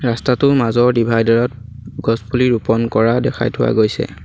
ৰাস্তাটোৰ মাজৰ দিভাইডাৰত গছপুলি ৰোপন কৰা দেখাই থোৱা গৈছে।